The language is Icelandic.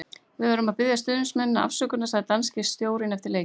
Við verðum að biðja stuðningsmennina afsökunar, sagði danski stjórinn eftir leikinn.